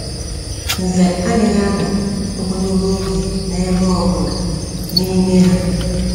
Nze adịghị anọ ogologo oge n’ebe ọ bụla n’ime ha.